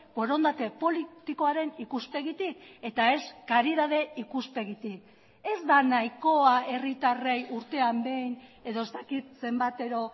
borondate politikoaren ikuspegitik eta ez karidade ikuspegitik ez da nahikoa herritarrei urtean behin edo ez dakit zenbatero